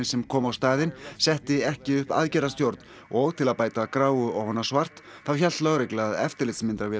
sem kom á staðinn setti ekki upp aðgerðastjórn og til að bæta gráu ofan á svart þá hélt lögregla að eftirlitsmyndavélar